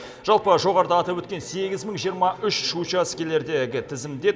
жалпы жоғарыда атап өткен сегіз мың жиырма үш учаскелердегі тізімде